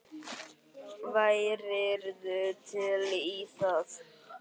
Værirðu til í það?